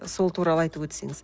сол туралы айтып өтсеңіз